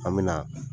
An me na